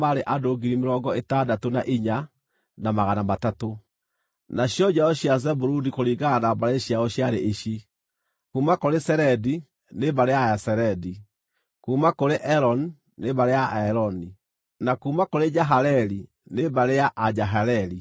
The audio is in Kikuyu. Nacio njiaro cia Zebuluni kũringana na mbarĩ ciao ciarĩ ici: kuuma kũrĩ Seredi, nĩ mbarĩ ya Aseredi; kuuma kũrĩ Eloni nĩ mbarĩ ya Aeloni, na kuuma kũrĩ Jahaleeli, nĩ mbarĩ ya Ajahaleeli.